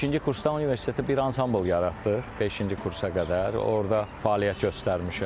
İkinci kursdan universitetdə bir ansambl yaratdıq beşinci kursa qədər, orda fəaliyyət göstərmişəm.